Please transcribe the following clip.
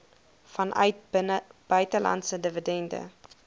vanuit buitelandse dividende